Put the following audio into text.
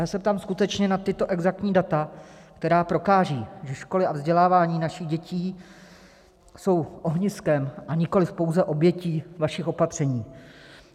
Já se ptám skutečně na tato exaktní data, která prokážou, že školy a vzdělávání našich dětí jsou ohniskem, a nikoliv pouze obětí vašich opatření.